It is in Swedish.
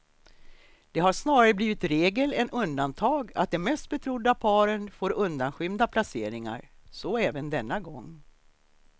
Det har snarare blivit regel än undantag att de mest betrodda paren får undanskymda placeringar, så även denna gång.